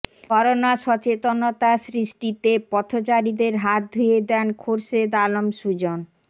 corona সচেতনতা সৃষ্টিতে পথচারীদের হাত ধুয়ে দেন খোরশেদ আলম সুজন